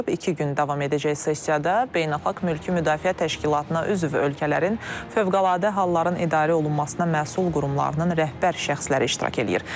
İki gün davam edəcək sessiyada beynəlxalq mülki müdafiə təşkilatına üzv ölkələrin fövqəladə halların idarə olunmasına məsul qurumlarının rəhbər şəxsləri iştirak eləyir.